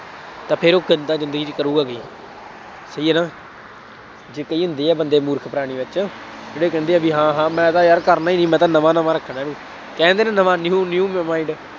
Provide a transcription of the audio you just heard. ਤਾਂ ਫੇਰ ਉਹ ਜ਼ਿੰਦਗੀ ਚ ਕਰੂਗਾ ਕੀ, ਸਹੀ ਹੈ ਨਾ ਜੇ ਕਹੀਏ ਹੁੰਦੀ ਹੈ ਬੰਦੇ ਮੂਰਖ ਪ੍ਰਾਣੀ ਵਿੱਚ, ਜਿਹੜੇ ਕਹਿੰਦੇ ਹੈ ਬਈ ਹਾਂ ਹਾਂ, ਮੈਂ ਤਾਂ ਯਾਰ ਕਰਨਾ ਹੀ ਨਹੀਂ, ਮੈਂ ਤਾਂ ਨਵਾਂ ਨਵਾਂ ਰੱਖਣਾ, ਕਹਿੰਦੇ ਨੇ ਨਵਾ new new mind